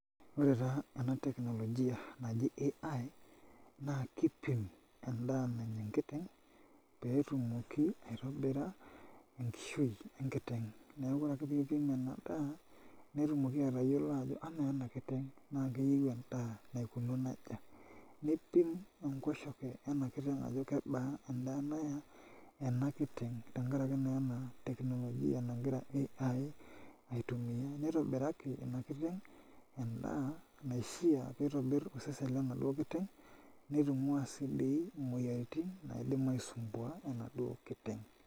Ore taa ena toki naji AI naa kiipim endaa nanya enkiteng' pee etumoki aitobira enkishui enkiteng' neeku ore ake piipim ena daa netumoki atayiolo ajo kamaa ena kiteng' naa keyieu endaa naikununo aja niipim enkoshoke ena kiteng' ajo kebaa ena kiteng' tenkaraki naa ena teknolojia nagira AI aitumia nitobiraki ena kiteng' endaa naishiaa pee itobirr osesen lenaduo kiteng' nitung'ua sii dii imouiaritin naidim nisumbuaa enaduo kiteng'.